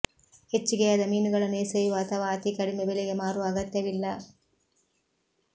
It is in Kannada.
ಹೆಚ್ಚಿಗೆಯಾದ ಮೀನುಗಳನ್ನು ಎಸೆಯುವ ಅಥವಾ ಅತಿ ಕಡಿಮೆ ಬೆಲೆಗೆ ಮಾರುವ ಅಗತ್ಯವಿಲ್ಲ